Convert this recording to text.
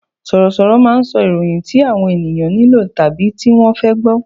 Sọ̀rọ̀ sọ̀rọ̀ máà ń sọ ìròyìn tí àwọn ènìyàn nílò tàbí tí wọ́n fẹ́ gbọ